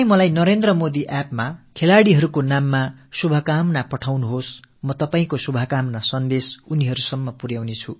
நீங்கள் நரேந்திரமோடி appஇல் நமது விளையாட்டு வீரர்களுக்கு உங்கள் நல் வாழ்த்துக்களை அனுப்புங்கள் நான் உங்கள் நல் வாழ்த்துக்களை அவர்களிடம் கொண்டு சேர்க்கிறேன்